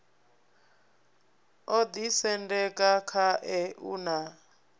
o ḓisendeka khae u na